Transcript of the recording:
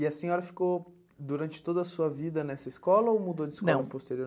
E a senhora ficou durante toda a sua vida nessa escola ou mudou de escola posteriormente?